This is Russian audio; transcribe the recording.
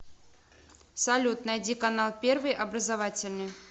салют найди канал первый образовательный